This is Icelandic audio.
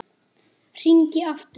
Hringi aftur!